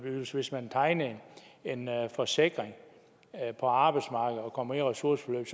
hvis hvis man tegner en forsikring på arbejdsmarkedet og kommer i ressourceforløb